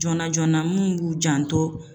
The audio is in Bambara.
Joona joona minnu b'u janto.